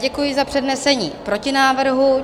Děkuji za přednesení protinávrhu.